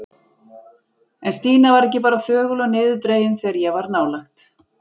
En Stína var ekki bara þögul og niðurdregin þegar ég var nálægt.